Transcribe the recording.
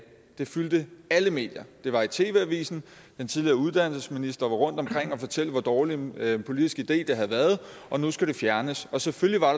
det fyldte alle medier det var i tv avisen den tidligere uddannelsesminister var rundtomkring og fortælle hvor dårlig en politisk idé det havde været og at nu skulle det fjernes og selvfølgelig var